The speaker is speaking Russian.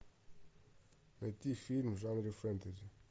найти фильм в жанре фэнтези